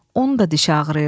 Onun da dişi ağrıyırdı.